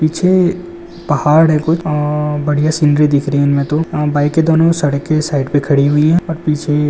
पीछे पहाड़ है। कुछ आ बढ़िया सीनरी दिख रही है। इनमे तो बाइक के दोनों सड़क के साइड पे खड़े हुई है। पीछे--